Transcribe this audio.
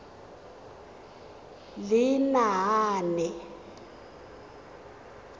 lenaane